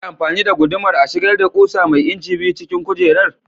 Za a iya amfani da gudumar a shigar da ƙusa mai inci biyu cikin kujerar?